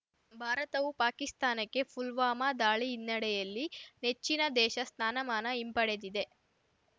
ಭಾರತವು ಪಾಕಿಸ್ತಾನಕ್ಕೆ ಪುಲ್ವಾಮಾ ದಾಳಿ ಹಿನ್ನೆಡೆಯಲ್ಲಿ ನೆಚ್ಚಿನ ದೇಶ ಸ್ನಾನಮಾನ ಹಿಂಪಡೆದಿದೆ